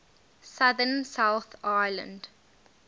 southern south island